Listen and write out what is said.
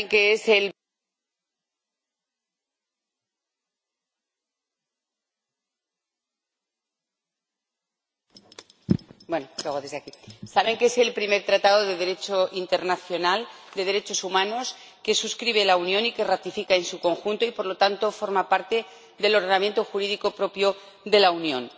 Es el primer Tratado de Derecho internacional, de derechos humanos, que suscribe la Unión y que ratifica en su conjunto y, por lo tanto, forma parte del ordenamiento jurídico propio de la Unión.